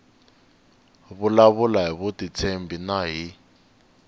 vulavula hi vutitshembi na hi